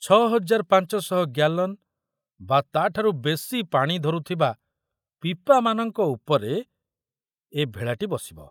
ଛ ହଜାର ପାଞ୍ଚ ଶହ ଗ୍ୟାଲନ ବା ତା ଠାରୁ ବେଶି ପାଣି ଧରୁଥିବା ପିପାମାନଙ୍କ ଉପରେ ଏ ଭେଳାଟି ବସିବ।